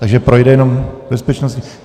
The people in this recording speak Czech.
Takže projde jenom bezpečnostní.